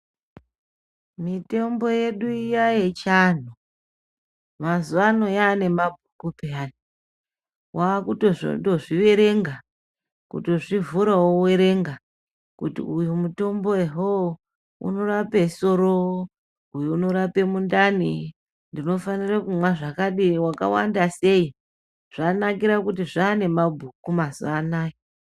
Mitombo yedu iya yechiantu mazuva ano yaane mabhuku peyani. Wakutozozviverenga kutozvivhura wowerenga kuti uyo mutombo ehoo unorape soro, uyo unorape mundani ndinofanira kumwe zvakadii, wakawanda sei. Zvanakira kuti zvane mabhuku mazuva anaya.